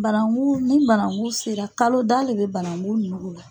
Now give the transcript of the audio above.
Barangu ni banagun sera kalo da le bɛ banangu ninnugu la.